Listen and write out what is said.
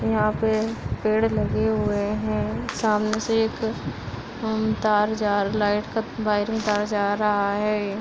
यहाँ पे पेड़ लगे हुए हैं। समाने से एक हु तार जा लाइट का वायरिंग तार जा रहा है।